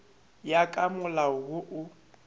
ya ka molao wo o